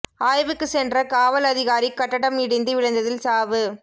ஆய்வுக்குச் சென்ற காவல் அதிகாரி கட்டடம் இடிந்து விழுந்ததில் சாவு